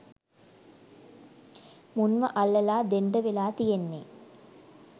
මුන්ව අල්ලලා දෙන්ඩ වෙලා තියෙන්නේ.